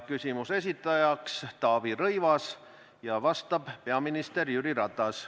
Küsimuse esitaja on Taavi Rõivas ja vastab peaminister Jüri Ratas.